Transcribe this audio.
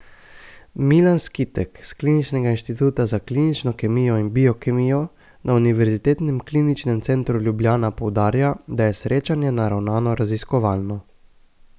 Milan Skitek s kliničnega inštituta za klinično kemijo in biokemijo na Univerzitetnem kliničnem centru Ljubljana poudarja, da je srečanje naravnano raziskovalno.